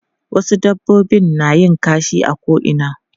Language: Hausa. Wasu dabbobi na yin kashi a ko'ina.